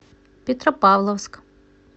петропавловск